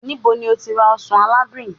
nibo ni o ti ra osan aladun yii?